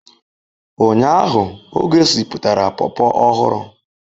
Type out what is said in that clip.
Ụnyaahụ ọ gosipụtara popo ọhụrụ